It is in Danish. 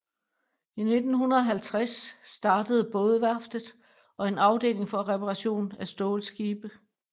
I 1950 starter bådeværftet og en afdeling for reparation af stålskibe